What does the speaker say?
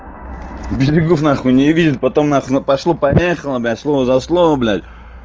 берегов нахуй не видит потом нахуй пошло-поехало блядь слово за слово блядь